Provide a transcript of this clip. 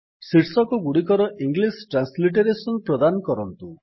ଶୀର୍ଷକଗୁଡିକର English transliteration ପ୍ରଦାନ କରନ୍ତୁ